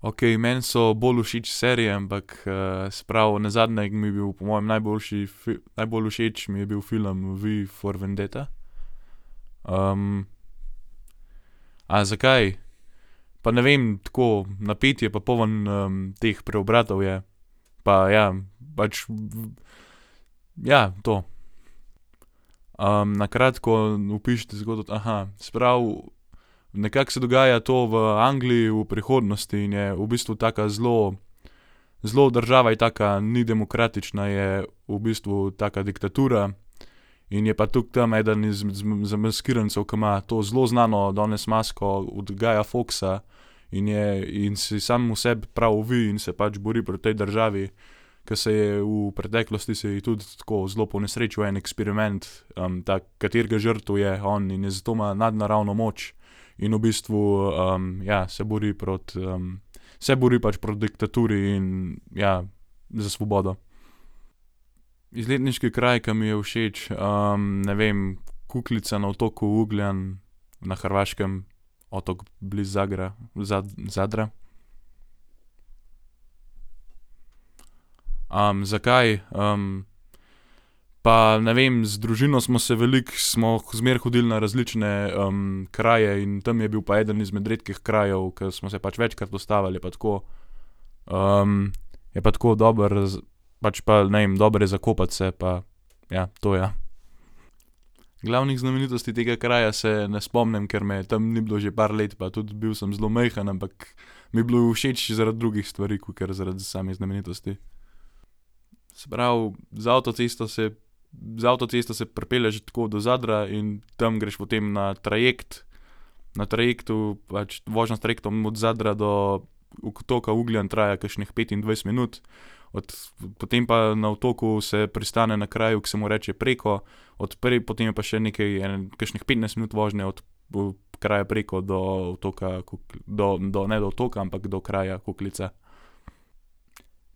Okej, meni so bolj všeč serije, ampak, se pravi, nazadnje mi je bil po mojem najboljši najbolj všeč mi je bil film V for Vendetta. A zakaj? Pa ne vem, tako, napet je pa poln, teh preobratov je. Pa ja, pač ja, to. na kratko opišite zgodbo, Se pravi, nekako se dogaja to v Angliji v prihodnosti in je v bistvu taka zelo, zelo država je taka, ni demokratična, je v bistvu taka diktatura. In je pa tudi tam eden izmed zamaskirancev, ki ima pa to zelo znano danes masko od Guya Fawkesa, in je, in si samemu sebi prav V in se pač bori proti tej državi, ke se je v preteklosti se ji je tudi tako zelo ponesrečil en eksperiment, ta, katerega žrtev je on, in, zato ima nadnaravno moč. In v bistvu, ja, se bori proti, se bori pač proti diktaturi in ja, za svobodo. Izletniški kraj, ke mi je všeč. ne vem Kukljica na otoku Ugljan na Hrvaškem. Otok blizu Zagra, Zadra. zakaj? pa ne vem, z družino smo se veliko, smo zmeraj hodili na različne, kraje in tam je bil pa eden izmed redkih krajev, ke smo se pač večkrat ustavili. Je pa tako, je pa tako dobro pač pa ne vem, dobro je za kopati se, pa ja, to ja. Glavnih znamenitosti tega kraja se ne spomnim, ker me tam ni bilo že par let pa tudi bil sem zelo majhen, ampak mi je bilo všeč zaradi drugih stvari, kakor zaradi samih znamenitosti. Se pravi, z avtocesto se, z avtocesto se pripelješ tako do Zadra in tam greš potem na trajekt. Na trajektu, pač vožnja s trajektom od Zadra do otoka Ugljan traja kakšnih petindvajset minut. potem pa na otoku se pristane na kraju, ke se mu reče Preko, od potem je pa še ene, kakšnih petnajst minut vožnje od, kraja preko do otoka do, do, ne do otoka, ampak do kraja Kukljica.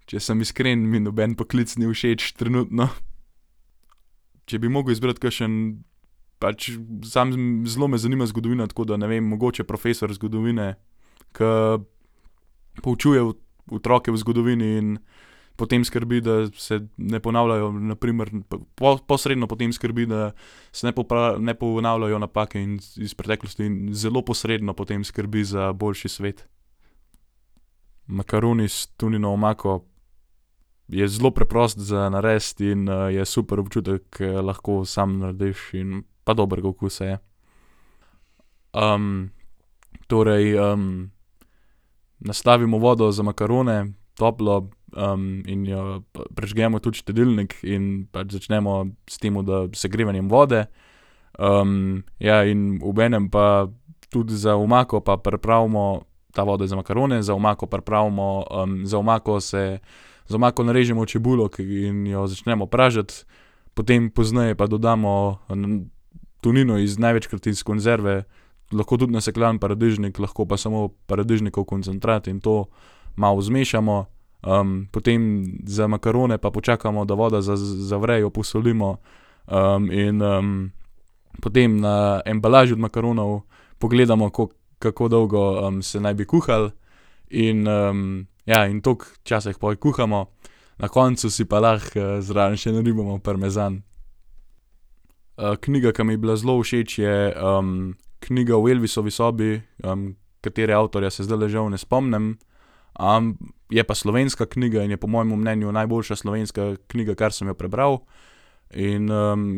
Če sem iskren, mi noben poklic ni všeč trenutno. Če bi mogel izbrati kakšen pač sam, zelo me zanima zgodovina, tako da ne vem, mogoče profesor zgodovine, ke poučuje otroke o zgodovini in potem skrbi, da se ne ponavljajo na primer, posredno potem skrbi, da se ne ne ponavljajo napake in, iz preteklosti in zelo posredno potem skrbi za boljši svet. Makaroni s tunino omako. Je zelo preprost za narediti in, je super občutek, ke lahko sam narediš in pa dobrega okusa je. torej, nastavimo vodo za makarone, toplo, in jo, prižgemo tudi štedilnik in pač začnemo s tem, da, segrevanjem vode. ja, in obenem pa tudi za omako pa pripravimo, ta voda je za makarone, za omako pripravimo, za omako se, za omako narežemo čebulo, ke in jo začnemo pražiti. Potem pozneje pa dodamo tunino iz, največkrat iz konzerve, lahko tudi nasekljan paradižnik, lahko pa samo paradižnikov koncentrat in to malo zmešamo. potem za makarone pa počakamo, da voda zavre, jo posolimo, in, potem na embalaži od makaronov pogledamo, kako dolgo, se naj bi kuhalo, in, ja, in toliko časa jih pol kuhamo. Na koncu si pa lahko, zraven še naribamo parmezan. knjiga, ko mi je bila zelo všeč, je, knjiga V Elvisovi sobi, katere avtorja se zdajle žal ne spomnim, je pa slovenska knjiga in je po mojem mnenju najboljša slovenska knjiga, kar sem jo prebral. In,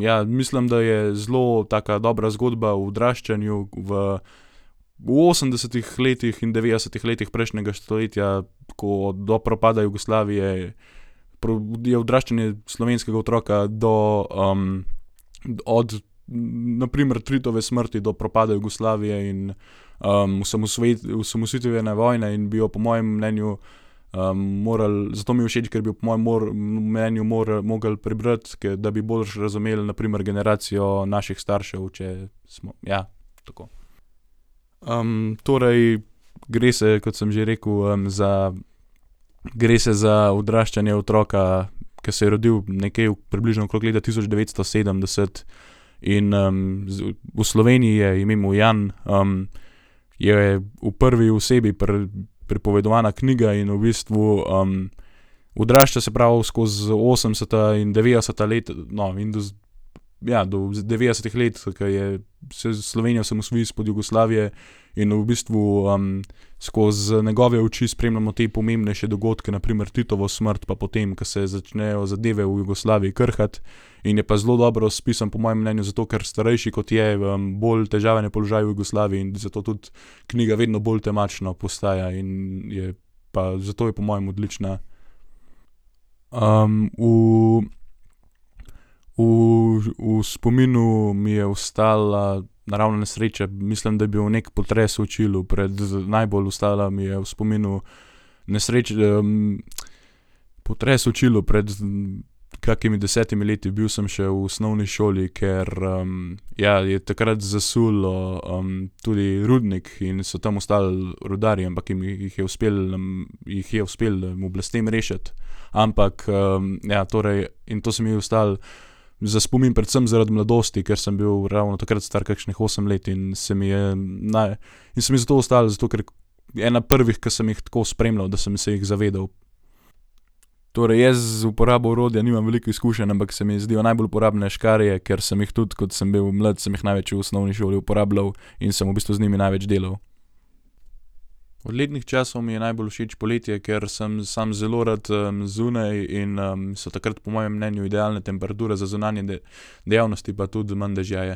ja, mislim, da je zelo taka dobra zgodba o odraščanju v, v osemdesetih letih in devetdesetih letih prejšnjega stoletja, ko, do propada Jugoslavije, je odraščanje slovenskega otroka do, od na primer Titove smrti do propada Jugoslavije in, osamosvojitvene vojne in bi jo po mojem mnenju, morali, zato mi je všeč, ker bi jo po mojem mnenju mogli prebrati, da bi boljše razumeli na primer generacijo naših staršev, če ja, tako. torej gre se, kot sem že rekel, za, gre se za odraščanje otroka, ke se je rodil nekje približno okrog leta tisoč devetsto sedemdeset in, v Sloveniji, je ime mu Jan, je v prvi osebi pripovedovana knjiga. In v bistvu, odrašča se pravi skozi osemdeseta in devetdeseta no, in ja, do devetdesetih let, ke je se Slovenija osamosvoji izpod Jugoslavije. In v bistvu, skozi njegove oči spremljamo te pomembnejše dogodke, na primer Titovo smrt, pa potem, ke se začnejo zadeve v Jugoslaviji krhati. In je pa zelo dobro spisan po mojem mnenju, zato ker starejši, kot je, bolj težaven je položaj v Jugoslaviji. In zato tudi knjiga vedno bolj temačna postaja in je pa, zato je po mojem odlična. v v, v spominu mi je ostala naravna nesreča, mislim, da je bil neki potres v Čilu najbolj ostala mi je v spominu potres v Čilu pred kakimi desetimi leti, bil sem še v osnovni šoli, ker, ja, je takrat zasulo, tudi rudnik in so tam ostali rudarji, ampak jim jih je uspelo, jih je uspelo oblastem rešiti. Ampak, ja, torej in to se mi je ostalo za spomin predvsem zaradi mladosti, ker sem bil ravno takrat star kakšnih osem in se mi je in se mi je zato ostalo, zato ker je ena prvih, ki sem jih tako spremljal, da sem se jih zavedal. Torej, jaz z uporabo orodja nimam veliko izkušenj, ampak se mi zdijo najbolj uporabne škarje, ker sem jih tudi, ko sem bil mlad, sem jih največ v osnovni šoli uporabljal in sem v bistvu z njimi največ delal. Od letnih časov mi je najbolj všeč poletje, ker sem samo zelo rad, zunaj in, so takrat po mojem mnenju idealne temperature za zunanje dejavnosti, pa tudi manj dežja je.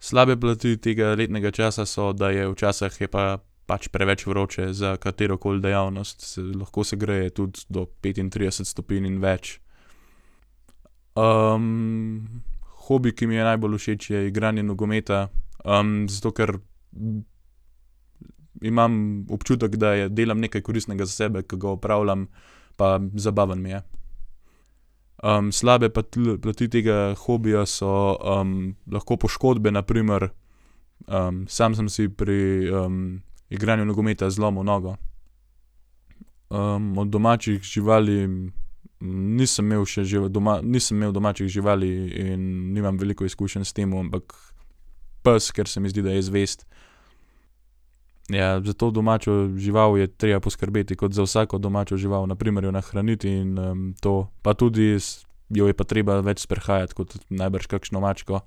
Slabe plati tega letnega časa so, da je, včasih je pa pač preveč vroče za katerokoli dejavnost. Se lahko segreje tudi do petintrideset stopinj in več. hobi, ki mi je najbolj všeč, je igranje nogometa, zato ker imam občutek, da delam nekaj koristnega za sebe, ke ga opravljam, pa zabaven mi je. slabe plati tega hobija so, lahko poškodbe, na primer, sam sem si pri, igranju nogometa zlomil nogo. od domačih živali, nisem imel še doma, nisem imel domačih živali in nimam veliko izkušenj s tem, ampak pes, ker se mi zdi, da je zvest. Ja, za to domačo žival je treba poskrbeti kot za vsako domačo žival. Na primer jo nahraniti in, to. Pa tudi jo je pa treba več sprehajati kot najbrž kakšno mačko.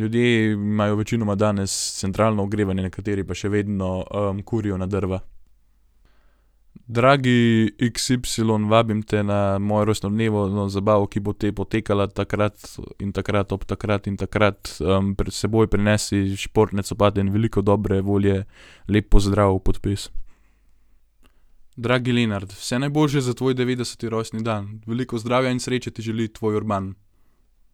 ljudje imajo večinoma danes centralno ogrevanje, nekateri pa še vedno, kurijo na drva. Dragi x, y, vabim te mojo rojstnodnevno zabavo, ki bo potekala takrat in takrat ob takrat in takrat. s seboj prinesi športne copate in veliko dobre volje. Lep pozdrav. Podpis. Dragi Lenart, vse najboljše za tvoj devetdeseti rojstni dan. Veliko zdravja in sreče ti želi tvoj Urban.